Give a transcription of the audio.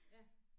Ja